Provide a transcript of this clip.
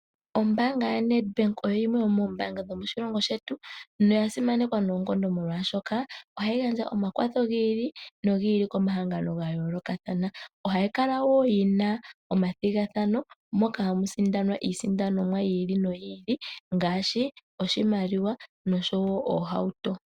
Ombaanga yaNEDBANK oyo ombaanga yimwe ndjoka ya simana moshilongo shetu